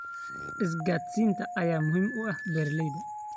Isgaadhsiinta ayaa muhiim u ah beeraha.